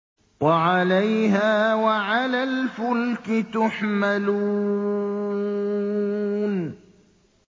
وَعَلَيْهَا وَعَلَى الْفُلْكِ تُحْمَلُونَ